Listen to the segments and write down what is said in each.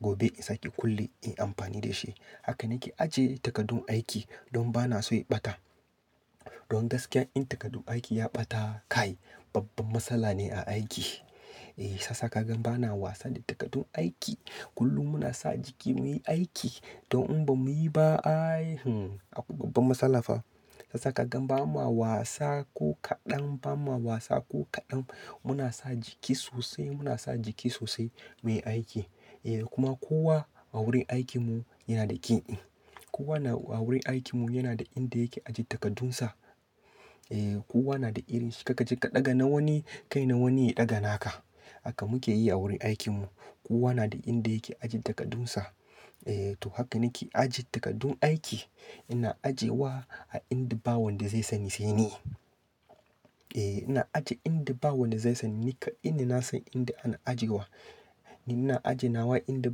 gobe in sake kulle in yi amfani da shi. Haka nake ajiye takaddun aiki, don ba na so ya ɓata. Don gaskiya in takaddun aiki ya ɓata, kai babban matsala ne a aiki. Eh, shiyasa ka gan ba na wasa da takaddun aiki. Kullum muna sa jiki muyi aiki. Don in ba muyi ba ai, akwai babban matsala fa. Shiyasa ka gan ba ma wasa ko kaɗan, ba ma wasa ko kaɗan. Muna sa jiki sosai, muna sa jiki sosai muyi aiki. Eh, kuma kowa a wurin aikin mu yana da key in. Kowa na a wurin aikin mu yana da inda yake ajiye takardunsa. Eh, kowa na da irin shi. Kar ka je ka ɗaga na wani, kai na wani ya ɗaga naka. Haka muke yi a wurin aikin mu. Kowa na da inda yake ajiye takardunsa. E, to haka nake ajiye takaddun aiki. Ina ajiyewa a inda ba wanda zai sani sai ni. E, ina ajiye inda ba wanda zai sani, ni kaɗai ne, na san inda ana ajiyewa. Ni ina ajiyewa inda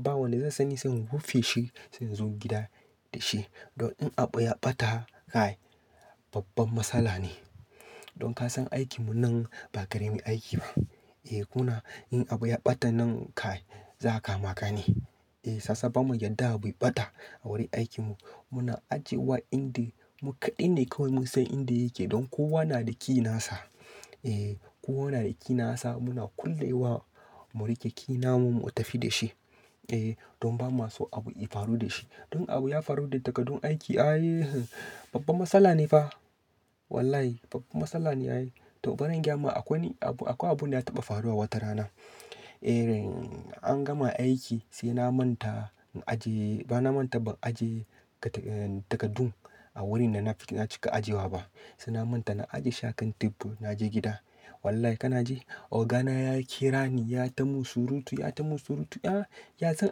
ba wanda zai sani sai in rufe shi, sai in zo gida da shi. Don in abu ya ɓata, kai babban matsala ne. Don ka san aikin mu nan, ba karamin aiki ba. E, kuna in abu ya ɓata nan kai za a kama ka ne. Eh, shiyasa bamu yadda abu ya ɓata a wurin aikin mu. Muna ajiyewa inda mu kaɗai ne kawai mun san inda yake, don kowa na da key nasa. Eh, kowa na da key nasa, muna kulle wa mu riƙe key namu, mu tafi da shi. Eh, don ba ma so abu ya faru da shi. Don abu ya faru da takaddun aiki ai, babban matsala ne fa. Wallahi babban matsala ne ai. To, baran gayama akwai abu, akwai abun da ya taɓa faruwa wata rana. Irin an gama aiki, sai na manta in ajiye, bana manta ban ajiye takardun a wurin da nacika ajiyewa ba. Sai na manta na ajiye shi akan tebur na je gida. Wallahi kana ji, oga na ya kira ni, yayi tamin surutu, yayi tamin surutu, "Ah, ya zan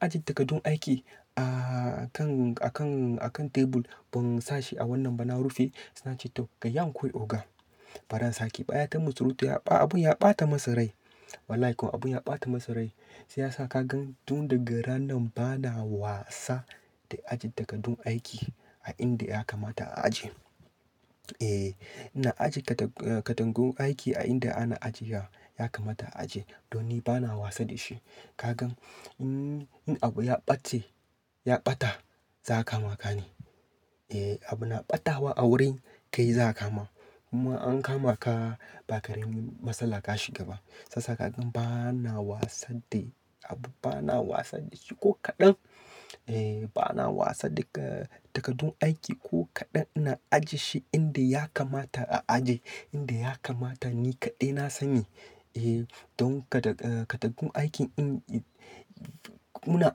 ajiye takaddun aiki a kan, a kan, a kan tebur ban sa shi a wannan ba na rufe?" Na ce, "to, kayi hakuri oga." Baran sake ba, yayi ta min surutu, abun ya ɓata masa rai. Wallahi kuwa abun ya ɓata masa rai. Shi ya sa ka gan duk daga ranan bana wasa, da ajjiye takardun aiki, a inda ya kamata a ajiye. Eh, ina ajiye takardun aiki a inda ana ajiyewa ya kamata a ajiye, don ni bana wasa da shi. Ka gan, in, in abu ya ɓace, ya ɓata za'a kama ka ne. Eh, abu na ɓatawa a wurin kai za a kama. Kuma an kama ka, ba karamin matsala ka shiga ba. Shiyasa ka gan bana wasa da abu, bana wasa da shi ko kaɗan. Eh, bana wasa daga takardun aiki ko kaɗan. Ina ajiye shi inda ya kamata a ajiye, inda ya kamata ni kaɗai na sani. Eh, don kaɗa, takardun aiki ɗin, muna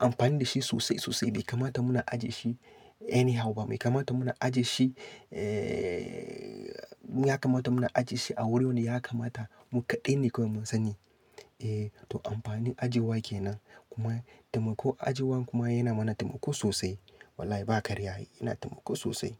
amfani da shi sosai-sosai, bai kamata muna ajiye shi anyhow ba. Bai kamata muna ajiye shi, ya kamata muna ajiye shi a wurin da ya kamata, mu kaɗai ne kawai mun sani. Eh, to amfanin ajiyewa kenan, kuma taimako ajiyewan kuma yana mana taimako sosai. Wallahi ba karya ai, yana taimako sosai.